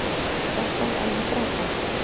Þetta er alveg frábært.